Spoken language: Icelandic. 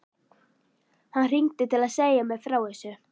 Hann hringdi til að segja mér frá þessu.